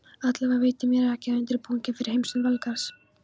Allavega veitir mér ekki af undirbúningi fyrir heimsókn Valgarðs.